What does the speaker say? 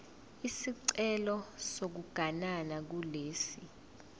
isicelo sokuganana kulesi